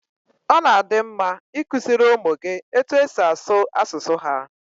Ọ na-adi mma i kuziri ụmụ gị etu e si asụ asụsụ ha